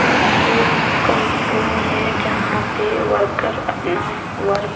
यह एक कंपनी है जहां पे वर्कर अपना वर्क --